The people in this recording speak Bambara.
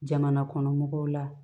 Jamana kɔnɔ mɔgɔw la